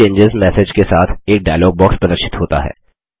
save चेंजों message के साथ एक डायलॉग बॉक्स प्रदर्शित होता है